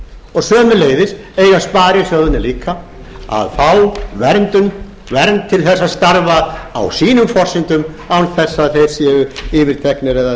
og sömuleiðis eiga sparisjóðirnir líka að fá vernd til þess að starfa á sínum forsendum án þess að þeir séu yfirteknir eða